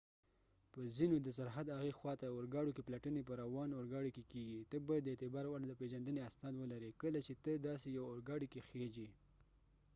په ځینو د سرحد هغې خوا ته اورګاډو کې پلټنی په روان اورګاډی کې کېږی ته باید د اعتبار وړ د پېژندنی اسناد ولري کله چې ته داسې یو اوګاډی کې خیژی